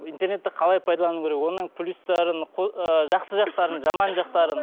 интернетті қалай пайдалану керек оның плюстарын ы жақсы жақтарын жаман жақтарын